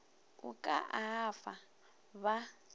o ka a fa ba